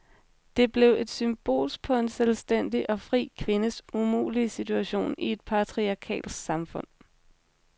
Det blev et symbol på en selvstændig og fri kvindes umulige situation i et patriarkalsk samfund.